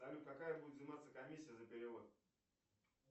салют какая будет взиматься комиссия за перевод